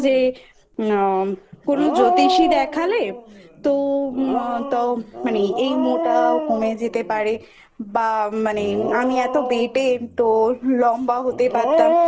যে আ কোনো জ্যোতিষী দেখালে তো মানে এই বা মানে মোটা কমে যেতে পারেবা মানে আমি এতো বেটে তো লম্বা হতে পারতাম এরকম